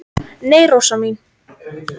"""Nei, Rósa mín."""